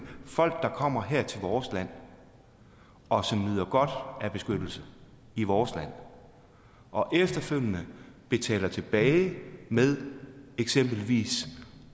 folk der kommer her til vores land og som nyder godt af beskyttelse i vores land og efterfølgende betaler tilbage ved eksempelvis